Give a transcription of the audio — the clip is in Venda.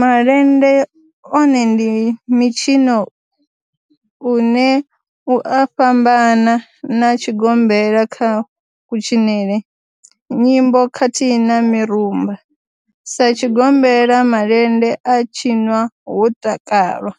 Malende one ndi mitshino une u a fhambana na tshigombela kha kutshinele, nyimbo khathihi na mirumba, Sa tshigombela, malende a tshinwa ho takalwa,